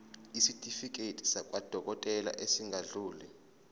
isitifiketi sakwadokodela esingadluli